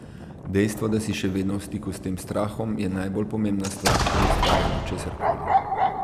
Dejstvo, da si še vedno v stiku s tem strahom, je najbolj pomembna stvar pri ustvarjanju česarkoli.